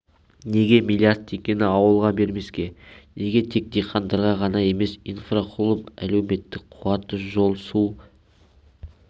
неге млрд теңгені ауылға бермеске неге тек диқандарға ғана емес инфрақұрылым әлектр қуаты жол су